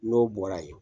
N'o bɔra yen